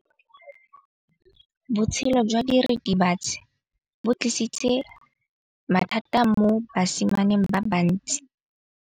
Botshelo jwa diritibatsi ke bo tlisitse mathata mo basimaneng ba bantsi.